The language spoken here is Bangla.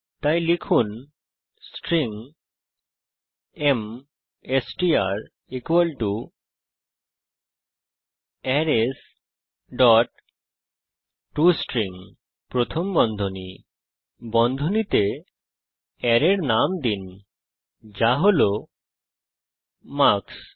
তাই লিখুন string MSTR arrays dot to string প্রথম বন্ধনী বন্ধনীতে অ্যারের নাম দিন যা হল মার্কস